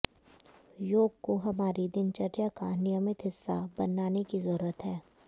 योग को हमारी दिनचर्या का नियमित हिस्सा बनाने की जरूरत है